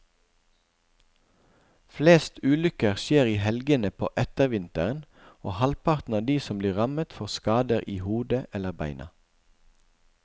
Flest ulykker skjer i helgene på ettervinteren, og halvparten av de som blir rammet får skader i hodet eller beina.